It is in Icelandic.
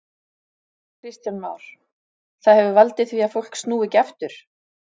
Kristján Már: Það hefur valdið því að fólk snúi ekki aftur?